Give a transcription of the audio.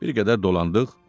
Bir qədər dolandıq.